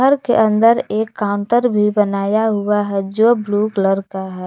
घर के अंदर एक काउंटर भी बनाया हुआ है जो ब्लू कलर का है।